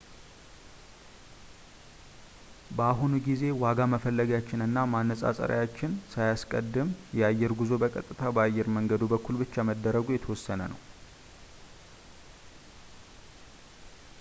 በአሁኑ ጊዜ የዋጋ መፈለጊያዎችን እና ማነፃፀሪያዎችን ሳያስቀድም የአየር ጉዞ በቀጥታ በአየር መንገዱ በኩል ብቻ መደረጉ የተወሰነ ነው